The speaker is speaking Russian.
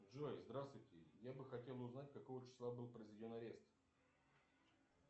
джой здравствуйте я бы хотел узнать какого числа был произведен арест